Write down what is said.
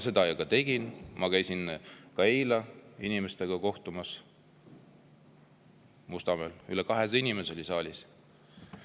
Seda ma ka tegin, ma käisin eile Mustamäel inimestega kohtumas, üle 200 inimese oli saalis.